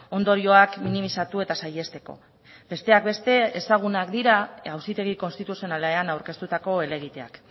ondorioak minimizatu eta saihesteko besteak beste ezagunak dira auzitegi konstituzionalean aurkeztutako helegiteak